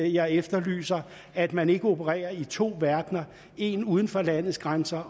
jeg efterlyser at man ikke opererer i to verdener en uden for landets grænser